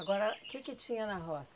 Agora, o que que tinha na roça?